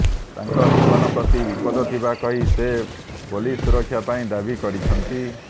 ତାଙ୍କ ଜୀବନ ପ୍ରତି ବିପଦ ଥିବା କହି ସେ ପୋଲିସ ସୁରକ୍ଷା ପାଇଁ ଦାବୀ କରିଛନ୍ତି